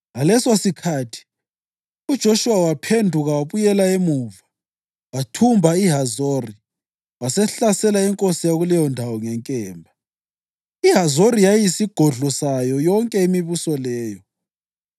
Ngalesosikhathi uJoshuwa waphenduka wabuyela emuva wathumba iHazori wasehlasela inkosi yakuleyo ndawo ngenkemba. (IHazori yayiyisigodlo sayo yonke imibuso leyo.)